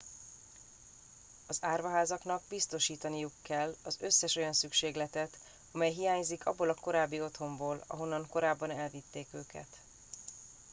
az árvaházaknak biztosítaniuk kell az összes olyan szükségletet amely hiányzik abból a korábbi otthonból ahonnan korábban elvitték őket